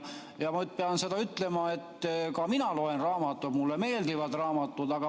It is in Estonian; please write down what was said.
Ma pean ütlema, et ka mina loen raamatuid, mulle meeldivad raamatud.